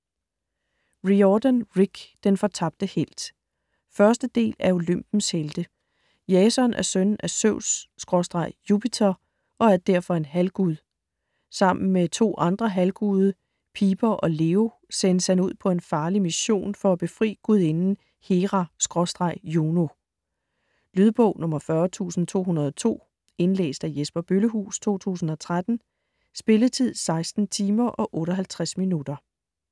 Riordan, Rick: Den fortabte helt 1. del af Olympens helte. Jason er søn af Zeus/Jupiter og er derfor en halvgud. Sammen med to andre halvguder, Piper og Leo, sendes han ud på en farlig mission for at befri gudinden Hera/Juno. Lydbog 40202 Indlæst af Jesper Bøllehuus, 2013. Spilletid: 16 timer, 58 minutter.